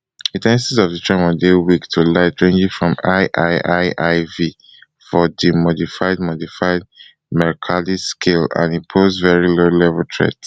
di in ten sities of di tremors dey weak to light ranging from iiiiv for di modified modified mercalli scale and e pose very lowlevel threat